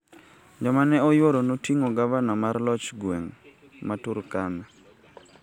Joma ne oyuoro noting'o Gavana mar loch gweng' ma Turkana,